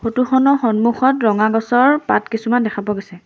Photo খনৰ সন্মুখত ৰঙা গছৰ পাত কিছুমান দেখা পোৱা গৈছে।